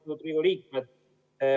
Austatud Riigikogu liikmed!